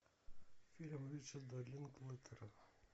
фильм ричарда линклейтера